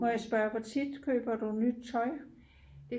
må jeg spørge hvor tit køber du nyt tøj?